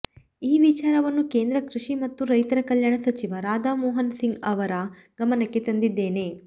ಈ ವಿಚಾರವನ್ನು ಕೇಂದ್ರ ಕೃಷಿ ಮತ್ತು ರೈತರ ಕಲ್ಯಾಣ ಸಚಿವ ರಾಧಾ ಮೋಹನ್ ಸಿಂಗ್ ಅವರ ಗಮನಕ್ಕೆ ತಂದಿದ್ದೇನೆ